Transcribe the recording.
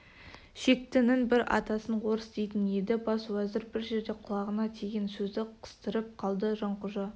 шектінің бір атасын орыс дейтін еді бас уәзір бір жерде құлағына тиген сөзді қыстырып қалды жанқожа